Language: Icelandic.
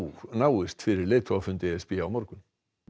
náist fyrir leiðtogafund e s b á morgun